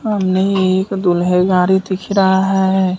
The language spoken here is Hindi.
हमने एक दूल्हे गाड़ी दिख रहा है।